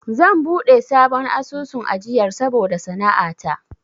Zan buɗe sabon asusun ajiyar saboda sana'a ta.